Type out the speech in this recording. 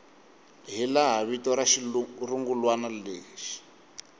hilaha vito ra xirungulwana lexi